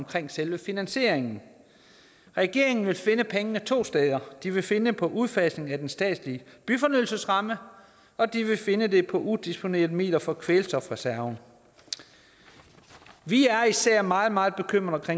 til selve finansieringen regeringen vil finde pengene to steder de vil finde dem på udfasning af den statslige byfornyelsesramme og de vil finde dem på udisponerede midler fra kvælstofreserven vi er især meget meget bekymret i